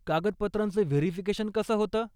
कागदपत्रांचं verification कसं होतं?